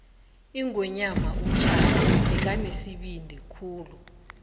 ingwenyama ushaka bekanesibindi khulu